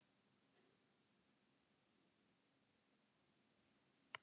Blín, kveiktu á sjónvarpinu.